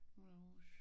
Moulin Rouge